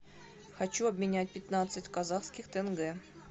хочу обменять пятнадцать казахских тенге